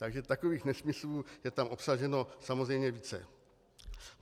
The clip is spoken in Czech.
Takže takových nesmyslů je tam obsaženo samozřejmě více.